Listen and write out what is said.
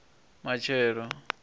matshelo